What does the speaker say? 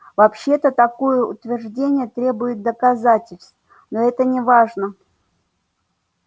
вообще-то такое утверждение требует доказательств но это неважно